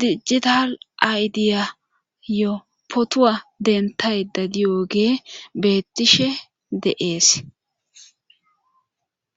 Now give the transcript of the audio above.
dijjital aydiyayo potuwa dentay da diyoge bettishe de'ees.